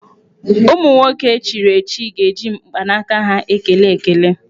Ụmụ nwoke echiri echichi ga-eji mkpanaka ha ekele ekele.